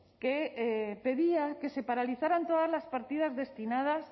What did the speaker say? que pedía que se paralizaran todas las partidas destinadas